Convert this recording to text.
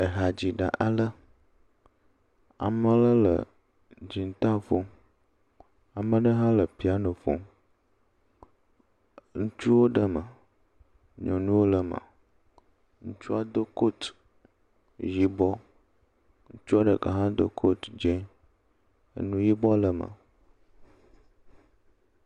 Ehadziɖe ale, amaa ɖe le dziŋta ƒom. Amaa ɖe hã le piano ƒom. Ŋutsuwo ɖe me, nyɔnuwo le me. Ŋutsua do kotu yibɔ. ŋutsua ɖeka hã do kotu dzẽ enu yibɔ lee me.